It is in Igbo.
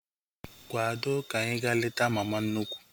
Kwado ka anyị ga-leta mama nnukwu!